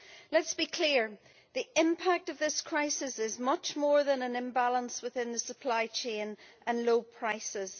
Let us be clear, the impact of this crisis is much more than an imbalance within the supply chain and low prices.